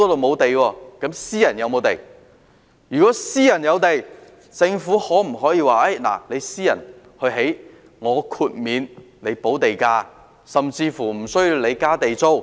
如果私人機構有土地，政府可否由他們興建，然後豁免他們補地價甚至無須繳交地租。